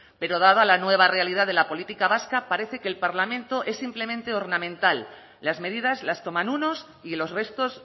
pero dada la nueva realidad de la política vasca parece que el parlamento es simplemente ornamental las medidas las toman unos y los restos